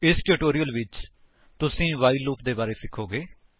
ਇਸ ਟਿਊਟੋਰਿਅਲ ਵਿੱਚ ਤੁਸੀ ਵਾਈਲ ਲੂਪ ਦੇ ਬਾਰੇ ਵਿੱਚ ਸਿਖੋਗੇ